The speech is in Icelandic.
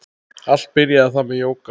Allt byrjaði það með jóga.